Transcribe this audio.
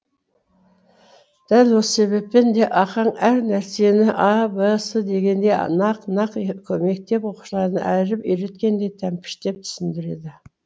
дәл осы себептен де ахаң әр нәрсені а б с дегендей нақ нақ мектеп оқушысына әріп үйреткендей тәмпіштеп түсіндіреді